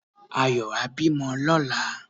Ayọ̀ á bímọ lóla